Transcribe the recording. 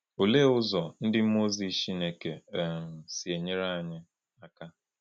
Olee ụzọ ndị mmụọ ozi Chineke um si enyere anyị aka?